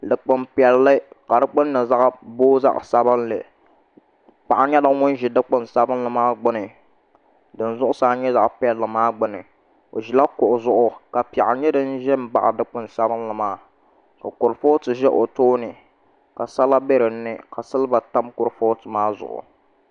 Dikpuni piɛlli ka di gbunni booi zaɣ sabinli paɣa nyɛla ŋum ʒi dikpuni sabinli maa gbuni din zuɣusaa nyɛ zaɣ piɛlli maa gbuni o ʒila kuɣu zuɣu ka piɛɣu nyɛ din ʒɛ n baɣa dikpuni sabinli maa ka kurifooti bɛ o tooni ka sala bɛ dinni ka silba tam kurifooti maa zuɣu